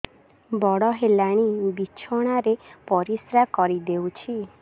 ବଡ଼ ହେଲାଣି ବିଛଣା ରେ ପରିସ୍ରା କରିଦେଉଛି